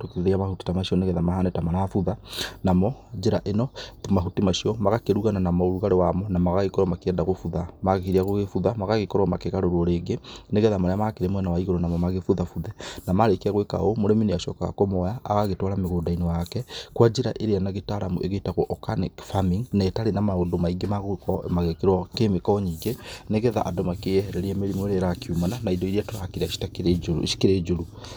tũkĩrĩa mahuti ta macio nĩgetha mahane ta marabutha, namo njĩra ĩno mahuti macio magakĩrugana namo ũrugarĩ wamo na magakorwo magĩkĩenda gũbutha, makĩambia gũgĩbutha magagĩkorwo magĩkĩgarũrwo rĩngĩ nĩgetha marĩa makĩri mwena wa igũrũ namo magĩbuthabuthe, na marĩkia gwĩka ũũ, mũrĩmi nĩ acokaga kũmoya agagĩtwara mũgũnda-inĩ wake kwa njĩra ĩrĩa na gĩtaramu ĩgĩtagwo organic farming na ĩtarĩ na maũndũ maingĩ ma gũkorwo magĩkĩrwo kemico nyingĩ, nĩgetha andũ makĩehererie mĩrimũ ĩrĩa ĩrakĩumana na ĩndo ĩrĩa tũrakĩrĩa cikĩrĩ njũru.